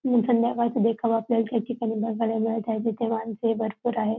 मग संध्याकाळचा देखावा आपल्याला या ठिकाणी बघायला मिळत आहे तिथे माणसं ही भरपूर आहेत.